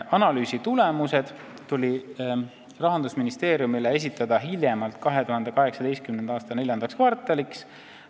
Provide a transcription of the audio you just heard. Analüüsi tulemused tuli Rahandusministeeriumile esitada hiljemalt 2018. aasta IV kvartaliks.